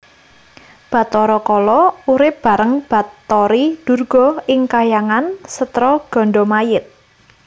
Bathara Kala urip bareng Bathari Durga ing kahyangan Setra Gandamayit